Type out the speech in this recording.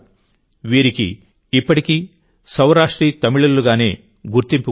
వీరికి ఇప్పటికీ సౌరాష్ట్రీ తమిళులుగానే గుర్తింపు ఉంది